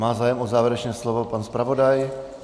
Má zájem o závěrečné slovo pan zpravodaj?